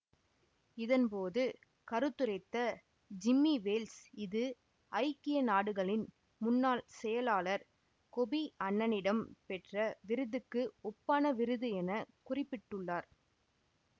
இதன் போது கருத்துரைத்த ஜிம்மி வேல்ஸ் இது ஐக்கிய நாடுகளின் முன்னாள் செயலாளர் கொபி அன்னனிடம் பெற்ற விருதுக்கு ஒப்பான விருது என குறிப்பிட்டுள்ளார்